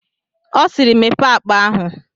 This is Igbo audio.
Ọ siiri, Mepee akpa ahụ!